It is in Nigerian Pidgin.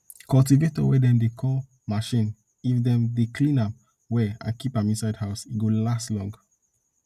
cultivator wey dem dey call machine if dem dey clean am well and keep am inside house e go last long